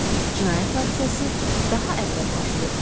Cinayət hadisəsi daha əvvəl baş verib.